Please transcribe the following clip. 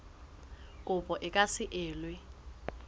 kopo e ka se elwe